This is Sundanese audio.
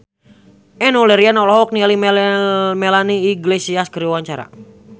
Enno Lerian olohok ningali Melanie Iglesias keur diwawancara